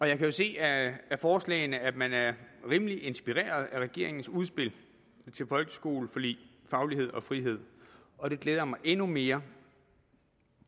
jeg kan jo se af forslagene at man er rimelig inspireret af regeringens udspil til folkeskoleforlig faglighed og frihed og det glæder mig endnu mere